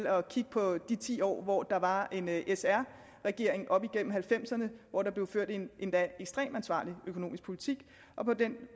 at kigge på de ti år hvor der var en sr regering op igennem nitten halvfemserne og hvor der blev ført en endda ekstremt ansvarlig økonomisk politik